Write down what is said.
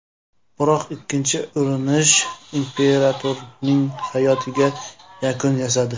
Biroq ikkinchi urinish imperatorning hayotiga yakun yasadi.